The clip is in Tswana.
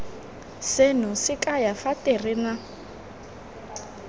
seno se kaya fa terena